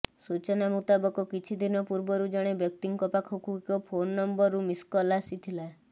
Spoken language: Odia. ସୂଚନା ମୁତାବକ କିଛି ଦିନ ପୂର୍ବରୁ ଜଣେ ବ୍ୟକ୍ତିଙ୍କ ପାଖକୁ ଏକ ଫୋନ ନମ୍ବରରୁ ମିସକଲ ଆସିଥିଲା